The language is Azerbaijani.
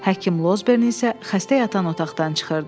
Həkim Lozbern isə xəstə yatan otaqdan çıxırdı.